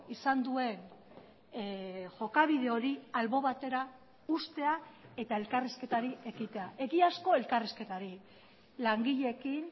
izan duen jokabide hori albo batera uztea eta elkarrizketari ekitea egiazko elkarrizketari langileekin